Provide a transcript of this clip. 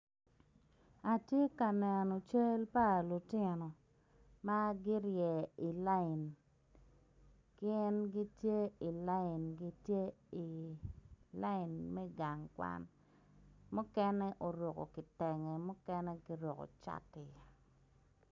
Atye ka neno cal palutino ma girye i lain gin gitye i lain gitye i lain me gang kwan mukene oruko kitenge mukene giruko cati.